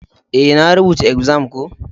Eh, na rubuta exams ko.